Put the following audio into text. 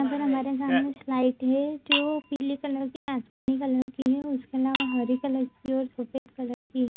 यहां पे हमारे सामने स्लाइट है। जो पीले कलर के आसमानी कलर के है उसके अलावा हरे कलर की और सफेद कलर की है।